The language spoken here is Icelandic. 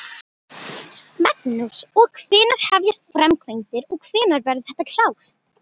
Magnús: Og hvenær hefjast framkvæmdir og hvenær verður þetta klárt?